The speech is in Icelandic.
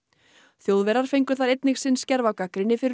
Þjóðverjar fengu þar einnig sinn skerf af gagnrýni fyrir